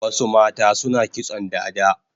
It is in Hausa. Wasu mata suna kitson dada